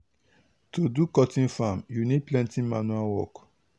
to do cotton farm u need plenty manual work.